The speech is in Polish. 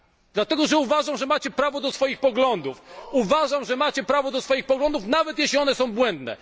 Dlatego, że uważam, że macie prawo do swoich poglądów, uważam, że macie prawo do swoich poglądów nawet, jeśli one są błędne.